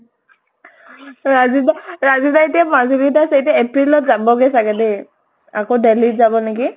ৰাজু দা ৰাজু দা এতিয়া মাজুলীত আছে, এতিয়া april ত যাব্গে চাগে দে। আকৌ delhi ত যান নেকি।